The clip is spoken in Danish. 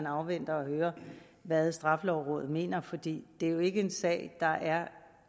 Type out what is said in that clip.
afvente at høre hvad straffelovrådet mener for det er jo ikke en sag der er